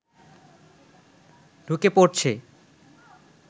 ঢুকে পড়ছে